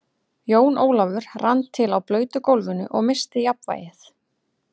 Jón Ólafur rann til á blautu gólfinu og missti jafnvlgið.